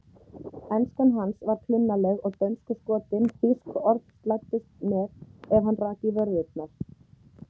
Enskan hans var klunnaleg og dönskuskotin, þýsk orð slæddust með ef hann rak í vörðurnar.